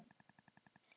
Hvað lærði ég á árinu?